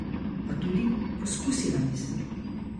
Pa tudi poskusila nisem.